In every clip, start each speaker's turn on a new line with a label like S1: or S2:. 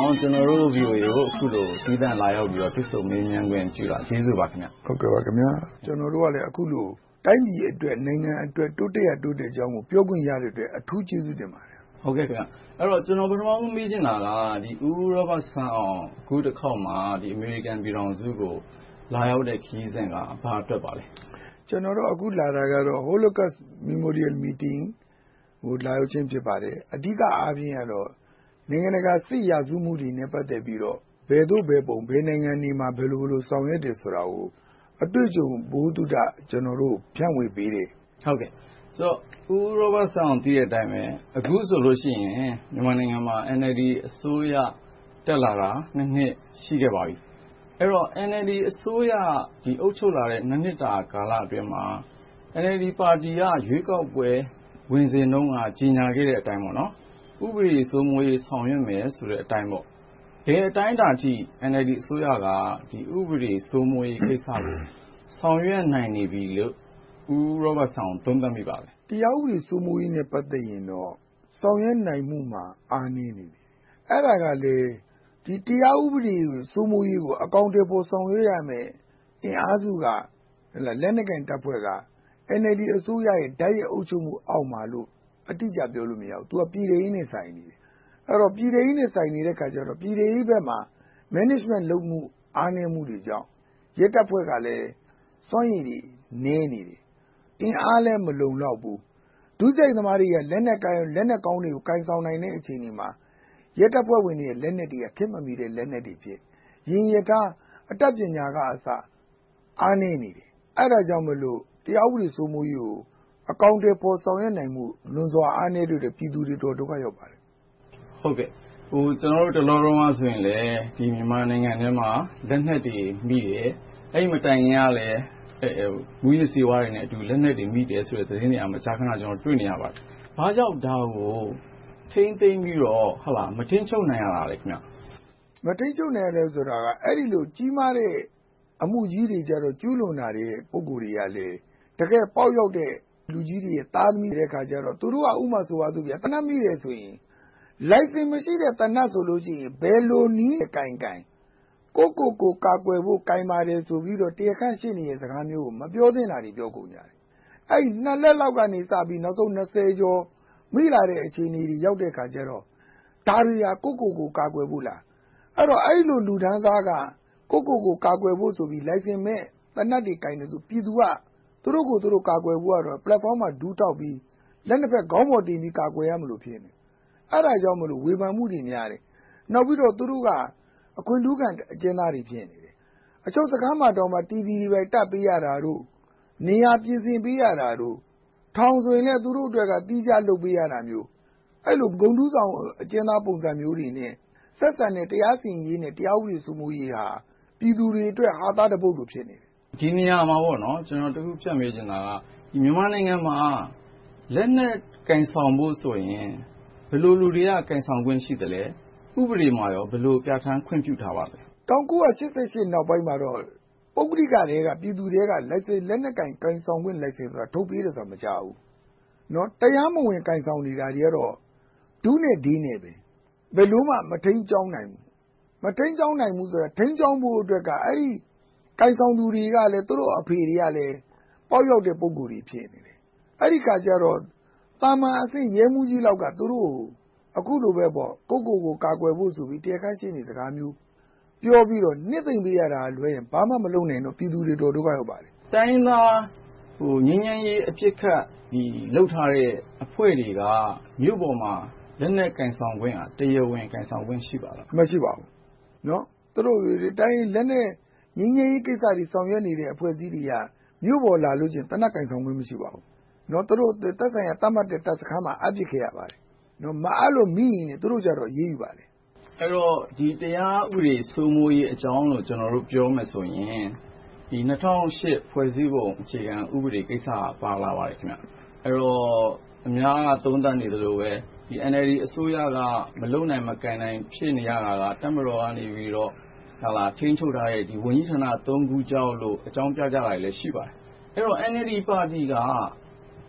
S1: အောင် ကျနော်တို့ VOA ကို သီးသန့်လာရောက်ပြီး တွေ့ဆုံမေးမြန်းခွင့်ပြုတာကို ကျေးဇူးပါ။ ဦးရောဘတ်စန်းအောင် ။
S2: ။ ကျနော်တို့ကလည်း တိုင်းပြည်အတွက်၊ နိုင်ငံအတွက် တိုးတက်ရာ တိုးတက်ကြောင်းတွေကို ပြောခွင့်ရတဲ့အတွက် အထူးကျေးဇူးတင်ပါတယ်။ ကိုဉာဏ်ဝင်းအောင
S1: ် ။ ။ ကျနော် ပထမဆုံး မေးချင်တာက ဦးရောဘတ်စန်းအောင် အခုတခေါက်မှာ အမေရိကန်ပြည်ထောင်စုကို လာရောက်တဲ့ ခရီးစဉ်က ဘာအတွက်ပါလဲ။ ဦးရောဘတ်စ
S2: န်းအောင် ။ ။ ကျနော်တို့ အခုလာတာကတော့ Holocust Memorial Meeting ကို လာရောက်ခြင်း ဖြစ်ပါတယ်။ အဓိကအားဖြင့်တော့ နိုင်ငံတကာ စစ်ရာဇဝတ်မှုတွေနဲ့ ပတ်သက်ပြီးတော့ ဘယ်သို့ဘယ်ပုံ ဘယ်နိုင်ငံတွေမှာ ဘယ်လို solve ခဲ့တယ်ဆိုတာကို အတွေ့အကြုံ၊ ဗဟုသုတ ဖြန့်ဝေပေးတယ်။ ကိုဉာဏ်ဝင်း
S1: အောင် ။ ။ ဦးရောဘတ်စန်းအောင် သိတဲ့အတိုင်းပဲ အခုဆိုရင် မြန်မာနိုင်ငံမှာ နည်းနည်းလေး အစိုးရသစ် တက်လာတာ နှစ် ရှိပါပြီ။ အဲဒီတော့ NLD အစိုးရ အုပ်ချုပ်လာတဲ့ နှစ်တာ ကာလအတွင်းမှာ NLD ပါတီက ရွေးကောက်ပွဲ ဝင်စဉ်တုန်းက ကြေညာခဲ့တဲ့အတိုင်း ဥပဒေ စိုးမိုးရေး ဆောင်ရွက်မယ်ဆိုတဲ့အတိုင်း ဘယ်အတိုင်းအတာအထိ ဥပဒေ စိုးမိုးရေးကိစ္စတွေကို ဆောင်ရွက်နိုင်နေပြီလို့ သ
S2: ုံးသပ်မိပါလဲ။ ဦးရောဘတ်စန်းအောင် ။ ။ တရားဥပဒေ စိုးမိုးရေးနဲ့ ပတ်သက်ရင် ဆောင်ရွက်နိုင်မှု အားနည်းတယ်။ အဲဒါကလဲ တရားဥပဒေ စိုးမိုးရေးကို အကောင်အထည်ဖော် ဆောင်ရွက်ရာမယ့် အင်အားစု လက်နက်ကိုင်တပ်ဖွဲ့က NLD အစိုးရရဲ့ တိုက်ရိုက်အုပ်ချုပ်မှုအောက်မှာလို့ တိုက်ရိုက်မှုအောက်မှာလို့ အတိအကျ ပြောလို့မရဘူး။ ပြည်ထဲရေးနဲ့ဆိုင်တယ်။ ပြည်ထဲရေးနဲ့ဆိုင်နေတဲ့အခါကြတော့ ပြည်ထဲရေးဘက်မှာ Management လုပ်မှု အားနည်းမှုတွေကြောင့် စွမ်းရည်တွေနည်းနေတယ်။ အင်အားလည်း မလုံလောက်ဘူး။ ဒုစရိုက်သမားတွေက လက်နက်ကိုင်၊ လက်နက်ကောင်းတွေ ကိုင်ဆောင်နိုင်တဲ့ အခြေအနေမှာ ရဲတပ်ဖွဲ့တွေရဲ့ လက်နက်တွေက ခေတ်မမီတဲ့ လက်နက်တွေဖြစ်ပြီး၊ ယာဉ် ရထား အတတ်ပညာကအစ အားနည်းနေတယ်။ အဲဒါကြောင့်မို့ တရားဥပဒေ စိုးမိုးရေးကို အကောင်အထည် ဆောင်ရွက်နိုင်မှု လွန်စွာကွာဟနေတာကြောင့် ပြည်သူတွေ အတော်ဒုက္ခရောက်ပါတယ်
S1: ။ ကိုဉာဏ်ဝင်းအောင် ။ ။ တလောတုန်းကလည်း မြန်မာနိုင်ငံအတွင်းမှာ လက်နက်တွေမိတယ်။ အဲဒီမတိုင်ခင်ကလည်း မူးယစ်ဆေးဝါးတွေနဲ့အတူ လက်နက်တွေမိတယ်ဆိုတဲ့ သတင်းတွေကိုလည်း မကြာခဏ တွေ့ရပါတယ်။ ဘာကြောင့် ဒါကို ထိန်းသိမ်းပြီးတော့ မထိန်းချုပ်နိုင်ရတာလဲ။ ဦးရော
S2: ဘတ်စန်းအောင် ။ ။ မထိန်းချုပ်နိုင်ရတာက အဲဒီလို ကြီးမားတဲ့ အမှုကြီးတွေ ကျူးလွန်လာတဲ့ ပုဂ္ဂိုလ်ကြီးတွေကလည်း တကယ့်ပေါက်ရောက်တဲ့ လူကြီးတွေရဲ့ သားသမီးတွေဖြစ်ကြတော့ ဥပမာ သေနတ်မိတယ်ဆိုရင် လိုင်စင်မရှိတဲ့ သေနတ်ဆိုရင် ဘယ်လိုနည်းနဲ့ကိုင်ကိုင် ကိုယ့်ကိုယ်ကိုယ် ကာကွယ်ဖို့ ကိုင်ပါတယ်ဆိုပြီးတော့ တရားခံရှေ့နေစကား၊ မပြောသင့်တာ ပြောကြတယ်။ အဲဒီ လက်လောက်ကစပြီး ကျော် မိလာတဲ့ အခြေအနေအထိ ရောက်လာတဲ့အခါ ဒါတွေဟာ ကိုယ့်ကိုယ်ကိုယ် ကာကွယ်ဖို့လား။ အဲဒီလို လူတန်းစားက ကိုယ့်ကိုယ်ကိုယ် ကာကွယ်ဖို့ဆိုပြီး လိုင်စင်မဲ့ သေနတ်တွေကိုင်သလို ပြည်သူက သူတို့ကိုယ်သူတို့ ကာကွယ်ဖို့ကတော့ ပလက်ဖောင်းမှာ ဒူးထောက်ပြီး လက်နှစ်ဖက် ခေါင်းပေါ်တင်ပြီး ကာကွယ်ရမလို့ ဖြစ်နေတယ်။ အဲဒါကြောင့်မလို့ ဝေဖန်မှုတွေများတယ်။ နောက်ပြီးတော့ သူတို့က အခွင့်ထူးခံ အကျဉ်းသားတွေ ဖြစ်နေတယ်။ အချုပ်ခန်းမှာတောင် TV တွေ ဘာတွေတပ်ပေးရတာတို့၊ နေရာပြင်ဆင်ပေးရတာတို့။ ထောင်ဆိုလည်း သူတို့အတွက် သီးသန့် လုပ်ပေးရတာမျိုး။ အဲဒီလို ဂုဏ်ထူးဆောင် အကျဉ်းသားပုံစံမျိုးတွေနဲ့ ဆက်ဆံတဲ့ တရားစီရင်ရေး၊ တရားဥပဒေ စိုးမိုးရေးဟာ ပြည်သူတွေအတွက် ဟာသတပုဒ်လို့ ဖြစ်နေတယ်။ ကိ
S1: ုဉာဏ်ဝင်းအောင် ။ ။ ဒီနေရာမှာ ကျနော် ဖြတ်မေးချင်တာက မြန်မာနိုင်ငံမှာ လက်နက်ကိုင်ဆောင်မှုဆိုရင် ဘယ်လိုလူတွေက ကိုင်ဆောင်ခွင့် ရှိသလဲ။ ဥပဒေမှာ ဘယ်လို ပြဌာန်းခွင့်ပြုထားပါလဲ
S2: ။ ဦးရောဘတ်စန်းအောင် ။ ။ ၁၉၈၈ နောက်ပိုင်းမှာတော့ ပုဂ္ဂလိကထဲက ပြည်သူထဲက လိုင်စင်လက်နက်ကိုင်ဆောင်ခွင့် လိုင်စင်ဆိုတာ ထုတ်ပေးတာဆိုတာ မကြားဘူး။ တရားမဝင် ကိုင်ဆောင်နေတာကတော့ ထုနဲ့ထယ်နဲ့ ဘယ်လိုမှ မထိန်းကျောင်းနိုင်ဘူး။ မထိန်းကျောင်းနိုင်ဘူးဆိုတာ ထိန်းကျောင်းဖို့က အဲဒီ ကိုင်ဆောင်သူတွေကလည်း သူတို့ အဖေတွေကလည်း ပေါက်ရောက်တဲ့ ပုဂ္ဂိုလ်တွေ ဖြစ်နေတယ်။ အဲဒီအခါကြတော့ သာမန်အဆင့် ရဲမှူးကြီးလောက်က သူတို့ကို အခုလိုပဲ ကိုယ့်ကိုယ်ကိုယ် ကာကွယ်ဖို့ဆိုပြီး တရားခံရှေ့နေစကားမျိုး ပြောပြီးတော့ နှစ်သိမ့်ပေးရတာလွှဲရင် ဘာမှမလုပ်နေလို့ ပြည်သူတွေ အတော်ဒုက္ခရောက်ကြတယ်။ ကိုဉာဏ်
S1: ဝင်းအောင် ။ ။ တိုင်းရင်းသား ငြိမ်းချမ်းရေး အပစ်အခတ် လုပ်ထားတဲ့အဖွဲ့တွေက လက်နက်ကိုင်ဆောင်ခွင့်၊ တရားဝင်ကိုင်ဆောင်ခွင့် ရှိပါလား။ ဦးရောဘတ်စန်းအောင် ။ ။ မရှိ
S2: ပါဘူး။ ငြိမ်းချမ်းရေးကိစ္စတွေ ဆောင်ရွက်နေတဲ့အဖွဲ့တွေက မြို့ပေါ်လာလို့ရှိရင် သေနတ် ကိုင်ဆောင်ခွင့် မရှိပါဘူး။ သူတို့နဲ့ သက်ဆိုင်တဲ့ တပ်စခန်းမှာ အပ်ထားခဲ့ရပါတယ်။ မအပ်လို့မိရင် သူတို့ကြတော့ အရေးယူခွင့်ရှိပါတယ်
S1: ။ ကိုဉာဏ်ဝင်းအောင် ။ ။ အဲဒီတော့ တရားဥပဒေ စိုးမိုးရေးအကြောင်းကို ကျနော်တို့ ပြောမယ်ဆိုရင် ၂၀၀၈ ဖွဲ့စည်းပုံအခြေခံဥပဒေကိစ္စ ပါသွားပါတယ်။ အဲဒီတော့ အများက သုံးသပ်နေသလိုပဲ NLD အစိုးရက မလုပ်နိုင်၊ မကိုင်နိုင် ဖြစ်နေရတာက တပ်မတော်ကနေ ထိန်းချုပ်ထားတဲ့ ဝန်ကြီးဌာန ခုကြောင့်လို့ အကြောင်းပြကြတာတွေ ရှိပါတယ်။ အဲဒီတော့ NLD ပါတီက ၂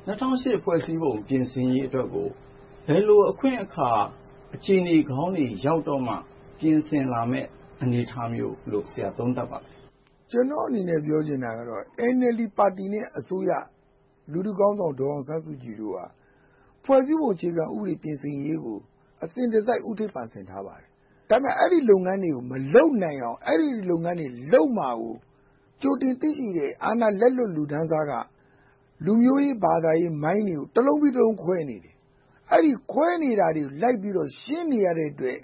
S1: ၀၀၈ ဖွဲ့စည်းပုံ ပြင်ဆင်ရေးအတွက်ကို ဘယ်လို အခွင့်အခါ အခြေအနေကောင်းတွေရောက်တော့မှ ပြင်ဆင်လာမယ့် အနေအထားမျိုး သုံးသပ်မိပါလဲ
S2: ။ ဦးရောဘတ်စန်းအောင် ။ ။ ကျနော့်အနေနဲ့ ပြောချင်တာက NLD ပါတီနဲ့ အစိုးရ လူထုခေါင်းဆောင် ဒေါ်အောင်ဆန်းစုကြည်တို့က ဖွဲ့စည်းပုံအခြေခံ ဥပဒေ ပြင်ဆင်ရေးကို အစဉ်တစိုက် ဦးထိပ်ပန်းဆင်ထားပါတယ်။ ဒါပေမဲ့ အဲဒီလုပ်ငန်းတွေကို မလုပ်နိုင်အောင်၊ အဲဒီလုပ်ငန်းတွေ လုပ်မှာကို ကြိုတင်သိရှိတဲ့ အာဏာလက်လွတ် လူတန်းစားက လူမျိုးရေး၊ ဘာသာရေး မိုင်းတွေ တလုံးပြီးတလုံး ခွဲနေတယ်။ အဲဒီ ခွဲနေတာတွေကို လိုက်ပြီး ရှင်းနေရတဲ့အတွက်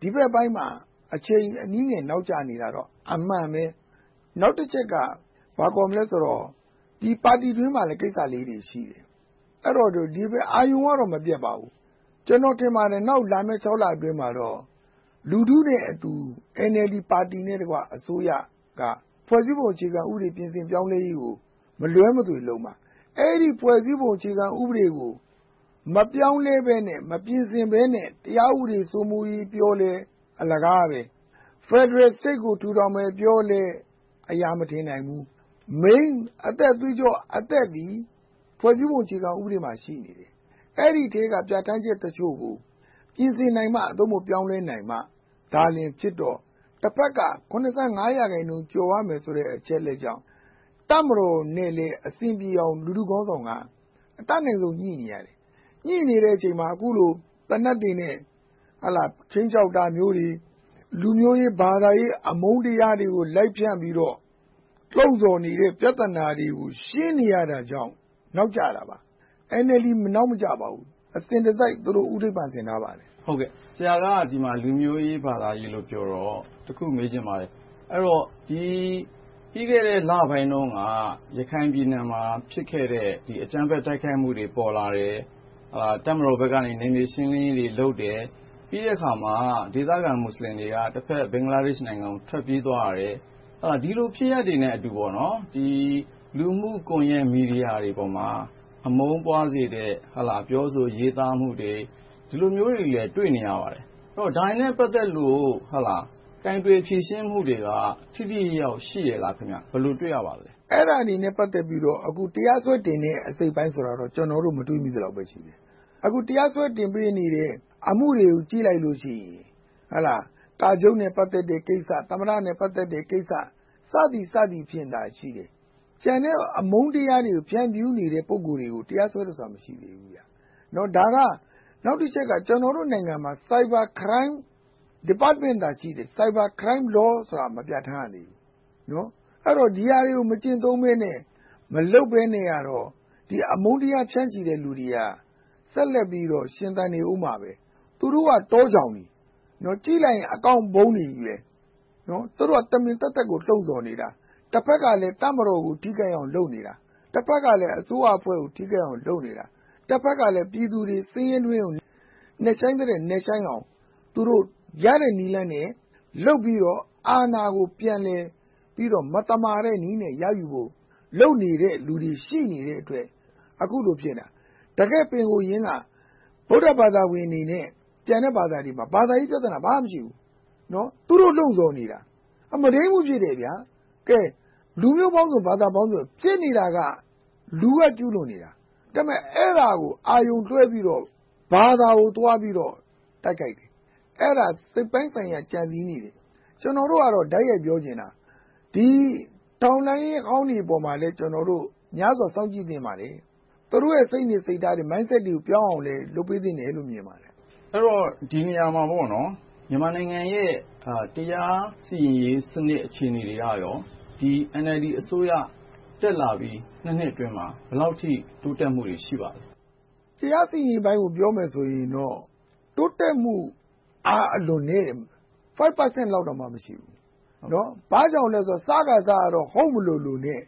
S2: ဒီဘက်ပိုင်းမှာ အချိန်အနည်းငယ် နောက်ကျနေတာတော့ အမှန်ပဲ။ နောက်တချက်က ဘာခေါ်မလဲဆိုတော့ ပါတီအတွင်းမှာလည်း ကိစ္စလေးတွေ ရှိတယ်။ ဒါပေမဲ့ အာရုံကတော့ မပျက်ပါဘူး။ ကျနော် ထင်ပါတယ်။ နောက်လာမယ့် ခြောက်လအတွင်းမှာတော့ လူထုနဲ့အတူ NLD ပါတီနဲ့တကွ အစိုးရက ဖွဲ့စည်းပုံ အခြေခံဥပဒေ ပြင်ဆင်ပြောင်းလဲရေးကို မလွှဲမသွေလုပ်မှာ။ အဲဒီ ဖွဲ့စည်းပုံအခြေခံဥပဒေကို မပြောင်းလဲ၊ မပြင်ဆင်ဘဲနဲ့ တရားဥပဒေ စိုးမိုးရေးပြောလည်း အလကားပဲ။ ဖယ်ဒရယ်စနစ်ကို ထူထောင်မယ်ပြောလဲ အရာမထင်နိုင်ဘူး။ Main အသက်သွေးကြောသည် ဖွဲ့စည်းပုံအခြေခံဥပဒေမှာ ရှိနေတယ်။ အဲဒီထဲက ပြဌာန်းချက်တချို့ကို ပြင်ဆင်နိုင်မှ ပြောင်းလဲနိုင်မှာဖြစ်တော့ တဘက်က ရာခိုင်နှုန်းကျော်ရမယ်ဆိုတဲ့ အချက်ကြောင့် တပ်မတော်နဲ့ အဆင်ပြေအောင် လူထုခေါင်းဆောင်က တပ်မတော်နဲ့ ပြည်သူကို ညှိနေတဲ့အချိန်မှာ အခုလို လက်နက်တွေနဲ့ ခြိမ်းခြောက်တာမျိုးတွေ၊ လူမျိုးရေး၊ ဘာသာရေး အမုန်းတရားတွေနဲ့ လိုက်ဖြန့်နေတော့ ထုတ်ဖော်နေတဲ့ ပြဿနာတွေကို ရှင်းနေရတာကြောင့် နောက်ကျတာပေါ့။ NLD နောက်မကျပါဘူး။ အစဉ်တစိုက် သူတို့ ဦးထိပ်ပန်းထားပါတယ်
S1: ။ ကိုဉာဏ်ဝင်းအောင် ။ ။ ဆရာက ဒီမှာ လူမျိုးရေး၊ ဘာသာရေးလို့ ပြောတော့ တခု မေးချင်ပါတယ်။ ပြီးခဲ့တဲ့ လပိုင်းတုန်းက ရခိုင်ပြည်နယ်မှာ ဖြစ်ခဲ့တဲ့ အကြမ်းဖက် တိုက်ခိုက်မှုတွေ ပေါ်လာတယ်။ တပ်မတော်ဘက်လည်း နယ်မြေရှင်းလင်းရေးတွေ လုပ်တယ်။ ပြီးတဲ့အခါမှာ ဒေသခံ မူစလင်တွေက တဘက်နိုင်ငံ ဘင်္ဂလားဒေ့ရှ်ကို ထွက်သွားကြတယ်။ ဒီလို ဖြစ်ရပ်တွေနဲ့အတူ လူမှု့ကွန်ရက် မီဒီယာတွေပေါ်မှာ အမုန်းပွားစေမယ့် အပြောအဆို၊ ရေးသားမှုတွေကိုလည်း တွေ့နေရပါတယ်။ ဒါတွေနဲ့ ပတ်သက်လို့ ကိုင်တွယ်ဖြေရှင်းမှုတွေက ထိထိရောက်ရောက် ရှိရဲ့လား။ ဘယ်လို တွေ့ရပါလဲ
S2: ။ ဦးရောဘတ်စန်းအောင် ။ ။ အဲဒါတွေနဲ့ ပတ်သက်ပြီးတော့ တရားစွဲတင်နေတဲ့ အစိတ်အပိုင်းဆိုတာတော့ ကျနော်တော့ မတွေ့မိသလောက်ရှိတယ်။ အခု တရားစွဲတင်ထားတဲ့ အမှုကိုကြည့်ရင် ကာချုပ်နဲ့ ပတ်သက်တဲ့ကိစ္စ။ သမ္မတနဲ့ ပတ်သက်တဲ့ကိစ္စ စသည်ဖြင့်သာရှိတယ်။ ကျန်တဲ့ အမုန်းတရားတို့၊ ဖြန့်နေတဲ့ ပုဂ္ဂိုလ်တွေကို တရားစွဲတယ်ဆိုတာ မရှိသေးဘူး။ ဒါက နောက်တချက်က ကျနော်တို့နိုင်ငံမှာ Cyber Crime Department သာရှိတယ်။ Cyber Crime Law ဆိုတာ မပြဌာန်းရသေးဘူး။ အဲဒီတော့ ဒီဟာတွေကို မကျင့်သုံးဘဲနဲ့ မလုပ်ဘဲနဲ့ အမုန်းတရား ဖြန့်ချီတဲ့လူတွေက ဆက်လက်ပြီးတော့ ရှင်သန်နေအုံးမှာပဲ။ သူတို့က တောကြောင်တွေ၊ ကြည့်လိုက်ရင် account မျိုးစုံနဲ့ သူတို့က တမင်သက်သက်ကို လှုံဆော်နေတာ။ တဘက်လည်း တပ်မတော်ကို ထိခိုက်အောင် လုပ်နေတာ၊ တဘက်ကလည်း အစိုးရအဖွဲ့ကို လုပ်နေတာ။ တဘက်ကလည်း ပြည်သူတွေ ဆင်းရဲတွင်းကို နက်ရှိုင်းသမျှ နက်ရှိုင်းအောင် သူတို့ ရတဲ့နည်းလမ်းနဲ့ လုပ်ပြီးတော့ အာဏာကို ပြန်လည်ပြီးတော့ မသမာတဲ့နည်းနဲ့ လုပ်နေတာတွေ ရှိနေတဲ့အတွက် အခုလို ဖြစ်နေတာ။ ဒီနေ့ တည်ငြိမ်ရေးက ဗုဒ္ဓဘာသာဝင်တွေနဲ့ ကျန်တဲ့ဘာသာတွေမှာ ဘာသာရေးပြဿနာ ဘာမှမရှိဘူး။ သူတို့ လှုံဆော်နေတာ။ မုဒိန်းမှုဖြစ်တယ်။ လူမျိုးပေါင်းစုံ၊ ဘာသာပေါင်းစုံ ဖြစ်နေတာက လူတွေက ကျူးလွန်နေတာ တဘက်က အာရုံလွဲပြီးတော့ ဘာသာကို သွားပြီးတော့ တိုက်ခိုက်နေတာ။ အဲဒါ စိတ်ပိုင်းဆိုင်ရာ ကြံစည်းနေတာ။ ကျနော်တို့က တိုက်ရိုက်ပြောချင်တာ ဒီထောက်လှမ်းရေးဟောင်းတွေပေါ်မှာလည်း ကျနော်တို့ များစွာစောင့်ကြည့်နေပါတယ်။ သူတို့ရဲ့ စိတ်နေစိတ်ထားတွေ Mindset တွေ ပြောင်းအောင်လည်း လုပ်ဖို့သင့်ပါတယ်။ ကိုဉာဏ်ဝင်းအောင်
S1: ။ ။ ဒီနေရာမှာ မြန်မာနိုင်ငံရဲ့ တရားစီရင်ရေး အခြေအနေတွေက NLD အစိုးရ တက်လာပြီး နှစ်အတွင်းမှာ ဘယ်လောက်အထိ တိုးတက်မှုတွေ ရှိပါလဲ
S2: ။ ဦးရောဘတ်စန်းအောင် ။ ။ တရားစီရင်မှုပိုင်းကို ပြောမယ်ဆိုရင်တော့ တိုးတက်မှု အားအလွန်နည်းတယ်။ 4% လောက်တောင် မရှိဘူး။ ဘာကြောင့်လဲဆိုတော့ စခါစကတော့ ဟုတ်မလိုလိုနဲ့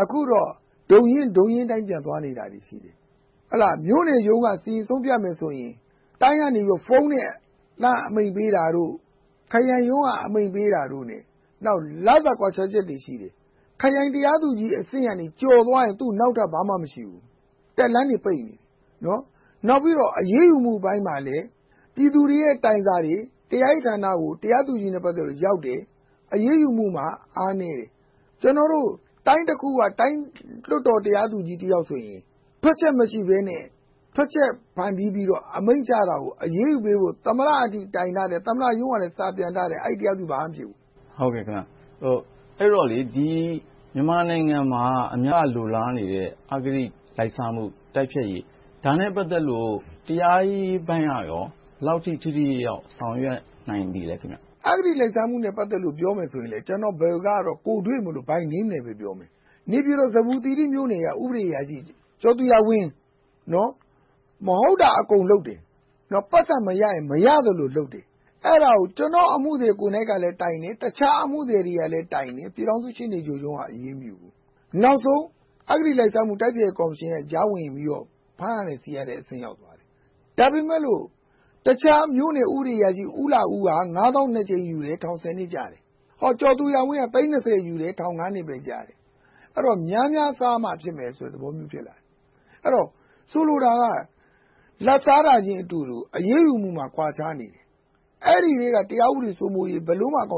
S2: အခုတော့ ဒုံရင်းဒုံရင်းအတိုင်းပဲ သွားနေကြတယ်။ မြို့နယ်ရုံးက တရားစီရင်ဆုံးဖြတ်မယ်ဆိုရင် မြို့နယ်ရုံးက လှမ်းဖုန်းဆက်ပြီး အမိန့်ပေးတာတို့၊ ခရိုင်ရုံးကအမိန့်ပေးတာတိုနဲ့ လစာကွာခြားချက်တွေ ရှိတယ်။ ခရိုင်တရားသူကြီးအဆင့်က ကျော်သွားရင် သူနောက်ထပ်တက်စရာ ဘာမှမရှိဘူး။ တက်လှမ်းတွေ ပိတ်နေတယ်။ နောက်ပြီးတော့ အရေးယူပိုင်းမှာလည်း ပြည်သူတွေက တိုင်စာရေး၊ တရားရေးဌာနတွေ၊ တရားသူကြီးနဲ့ ပတ်သက်ပြီးသွားပေး အရေးယူပိုင်းမှာ အားနည်းတယ်။ ကျနော်တို့ တိုင်းတခုက တိုင်းတရားသူကြီးတယောက်ဆို ထွက်ချက်မရှိဘဲနဲ့ ထွက်ချက်..အရေးယူပေးဖို့ သမ္မတကြီးထံ တိုင်ထားတာကို သမ္မတရုံးကလည်း စာပြန်ထားတယ်။ အဲဒီ တရားသူကြီး ဘာမှမဖြစ်ဘူး
S1: ။ ကိုဉာဏ်ဝင်းအောင် ။ ။ အဲဒီတော့ မြန်မာနိုင်ငံမှာ အများလိုလားနေတဲ့ အဂတိလိုက်စားမှု တိုက်ဖျက်ရေး ဒါနဲ့ ပတ်သက်လို့ ဒါနဲ့ ပတ်သက်လို့ တရားရေးပိုင်းကရော ဘယ်လောက်အထိ ထိထိရောက်ရောက် ဆောင်ရွက်နိုင်ပြီလဲ။ ဦးရောဘတ်စန်းအောင
S2: ် ။ ။ ဒီကိစ္စနဲ့ ပြောမယ်ဆိုရင်လဲ ကျနော်ကတော့ ကိုယ်တွေ့မို့လို့ By name နဲ့ပဲ ပြောမယ်။ နေပြည်တော် ဇမ္ဗူသီရိမြို့နယ်က ဥပဒေအရာရှိ ကျော်သူရဝင်း မဟုတ်တာ အကုန်လုပ်တယ်။ ပိုက်ဆံမရရင် မရသလိုလုပ်တယ်။ အဲဒါကို ကျနော့်အမှုသည်ကိုယ်တိုင်လည်း တိုင်တယ်။ တခြားအမှုသည်တွေကလည်း တိုင်တယ်။ ပြည်ထောင်စု ရှေ့နေရုံးက အရေးမယူဘူး။ နောက်ဆုံး အဂတိလိုက်စားမှု ကော်မရှင်ရဲ့ ကြားဝင်ပြီးတော့ ဖမ်းရဆီးရတဲ့အဆင့် ရောက်သွားတယ်။ ဒါပေမဲ့လို့ တခြားဥပဒေအရာရှိ ဦးလှဦး က ငါးသောင်းနှစ်ကြိမ်ယူတယ်။ ထောင် ဆယ်နှစ်ကျတယ်။ ကျော်သူရဝင်းက သိန်းနှစ်ဆယ်ယူတယ် ထောင်ငါးနှစ်ပဲ ကျတယ်။ အဲဒီတော့ များများစားမှဖြစ်မယ်ဆိုတဲ့သဘောမျိုး ဖြစ်လာတယ်။ ဆိုလိုတာက လာဘ်စားတာချင်းအတူတူ အရေးယူမှုမှာ ကွာခြားနေတယ်။ အဲဒီထဲက တရားဥပဒေ စိုးမိုးရေး ဘယ်လိုမှ အကောင